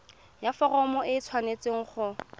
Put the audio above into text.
ya foromo e tshwanetse go